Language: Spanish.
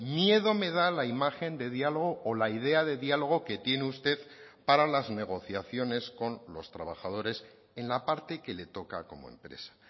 miedo me da la imagen de diálogo o la idea de diálogo que tiene usted para las negociaciones con los trabajadores en la parte que le toca como empresa